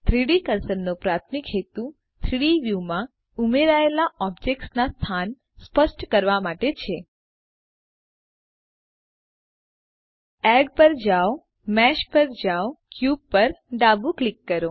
3ડી કર્સરનો પ્રાથમિક હેતુ 3ડી વ્યુ માં ઉમેરયલા ઑબ્જેક્ટ્સના સ્થાન સ્પષ્ટ કરવા માટે છે એડ પર જાઓMesh પર જાઓCube પર ડાબું ક્લિક કરો